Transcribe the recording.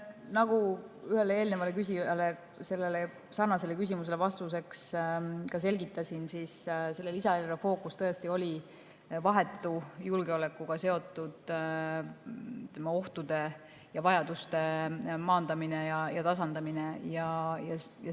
Nagu ühe eelneva küsija sarnasele küsimusele vastuseks selgitasin, selle lisaeelarve fookus tõesti oli vahetu julgeolekuga seotud ohtude ja vajaduste maandamine ning tasandamine.